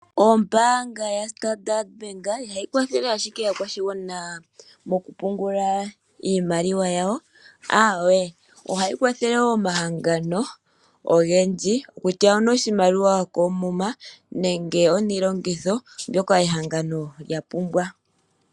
Ombaanga ya Standard Bank ihayi kwathele ashike aakwashigwana mokupungula iimaliwa yawo, aawe. Ohayi kwathele woo omahangano ogendji kutya onoshimaliwa koomuma, nenge oniilongitho, mbyoka ehangano lya pumbwa.